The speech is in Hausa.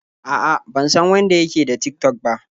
A'a, ban san wanda ya ke da Tik-tok ba.